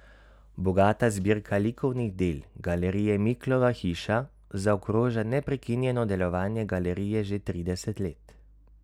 Bogata zbirka likovnih del Galerije Miklova hiša zaokroža neprekinjeno delovanje galerije že trideset let.